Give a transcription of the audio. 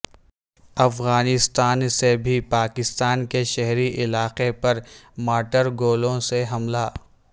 افغانستا ن سے بھی پاکستان کے شہری علاقے پر مارٹرگولوں سے حملہ